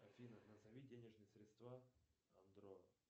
афина назови денежные средства андро